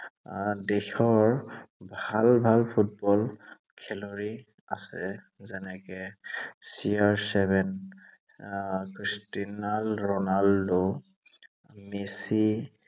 আহ দেশৰ ভাল ভাল ফুটবল খেলুৱৈ আছে। যেনেকে, চিয়াৰচেভেন, ক্ৰিষ্ট্ৰিয়াণ ৰণাল্ডো মেচি